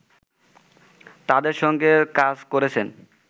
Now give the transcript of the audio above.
তাদের সঙ্গে কাজ করেছেন